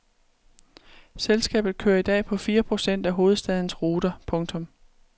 Selskabet kører i dag på fire procent af hovedstadens ruter. punktum